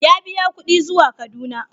Ya biya kuɗi zuwa Kaduna.